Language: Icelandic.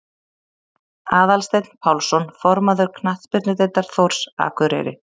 Aðalsteinn Pálsson formaður Knattspyrnudeildar Þórs Akureyri